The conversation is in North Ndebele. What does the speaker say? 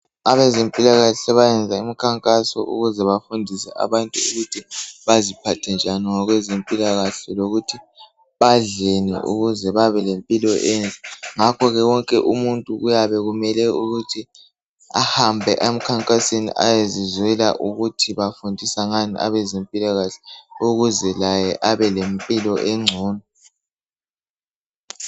Abezempilakahle sebayenza imikhankaso ukuze bafundise abantu ukuthi baziphathe njani ngokwezempilakahle. Lokuthi badleni, ukuze babelempilo enhle. Ngakho wonke umuntu kuyabe kumele ukuthi ahambe emkhankasweni. Ayezizwela ukuthi bafundisa ngani, abezempilakahke. Ukuze laye, abe lempilo engcono.